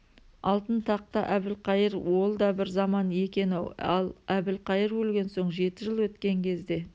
алтын тақта әбілқайыр ол да бір заман екен-ау ал әбілқайыр өлген соң жеті жыл өткен кезде